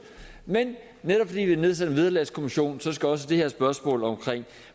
men netop fordi vi har nedsat en vederlagskommission skal også det her spørgsmål om